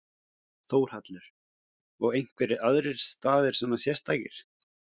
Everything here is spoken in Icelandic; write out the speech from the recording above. Þórhallur: Og einhverjir aðrir staðir svona sérstakir?